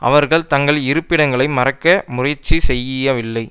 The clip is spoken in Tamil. அவர்கள் தங்கள் இருப்பிடங்களை மறைக்க முயற்சி செய்யவில்லை